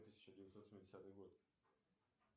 тысяча девятьсот семидесятый год